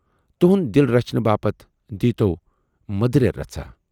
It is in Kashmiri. تُہُند دِل رچھنہٕ باپتھ دِی توَ مدریر رژھا۔